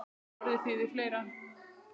En orðið þýðir fleira.